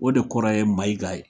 O de kɔrɔ yeMayiga ye.